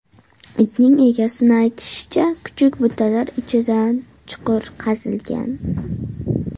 Itning egasini aytishicha, kuchuk butalar ichidan chuqur qazigan.